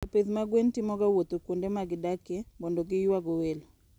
Jopith mag gwen timoga wuoth kuonde ma gidakie mondo giywago welo.